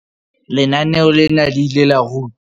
Lenaneo lena le ile la ruta.